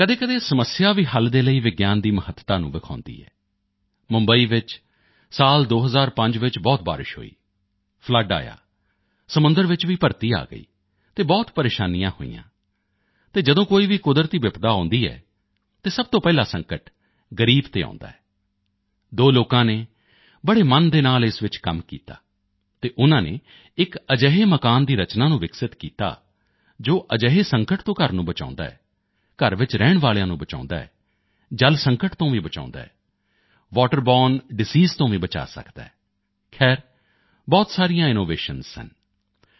ਕਦੇਕਦੇ ਸਮੱਸਿਆ ਵੀ ਹੱਲ ਦੇ ਲਈ ਵਿਗਿਆਨ ਦੀ ਮਹੱਤਤਾ ਨੂੰ ਵਿਖਾਉਂਦੀ ਹੈ ਮੁੰਬਈ ਵਿੱਚ 2005 ਚ ਬਹੁਤ ਬਾਰਿਸ਼ ਹੋਈ ਫਲੱਡ ਆਇਆ ਸਮੁੰਦਰ ਵਿੱਚ ਵੀ ਭਰਤੀ ਆ ਗਈ ਅਤੇ ਬਹੁਤ ਪ੍ਰੇਸ਼ਾਨੀਆਂ ਹੋਈਆਂ ਅਤੇ ਜਦੋਂ ਕੋਈ ਵੀ ਕੁਦਰਤੀ ਬਿਪਤਾ ਆਉਂਦੀ ਹੈ ਤਾਂ ਸਭ ਤੋਂ ਪਹਿਲਾਂ ਸੰਕਟ ਗ਼ਰੀਬ ਤੇ ਆਉਂਦੀ ਹੈ ਦੋ ਲੋਕਾਂ ਨੇ ਬੜੇ ਮਨ ਦੇ ਨਾਲ ਇਸ ਵਿੱਚ ਕੰਮ ਕੀਤਾ ਅਤੇ ਉਨ੍ਹਾਂ ਨੇ ਇਕ ਅਜਿਹੇ ਮਕਾਨ ਦੀ ਰਚਨਾ ਨੂੰ ਵਿਕਸਿਤ ਕੀਤਾ ਜੋ ਅਜਿਹੇ ਸੰਕਟ ਤੋਂ ਘਰ ਨੂੰ ਬਚਾਉਂਦਾ ਹੈ ਘਰ ਵਿੱਚ ਰਹਿਣ ਵਾਲਿਆਂ ਨੂੰ ਬਚਾਉਂਦਾ ਹੈ ਜਲ ਸੰਕਟ ਤੋਂ ਵੀ ਬਚਾਉਂਦਾ ਹੈ ਵਾਟਰ ਬੋਰਨੇ ਡਿਸੀਜ਼ ਤੋਂ ਵੀ ਬਚਾਅ ਸਕਦਾ ਹੈ ਖਹਿਰ ਬਹੁਤ ਸਾਰੇ ਇਨੋਵੇਸ਼ਨਜ਼ ਸਨ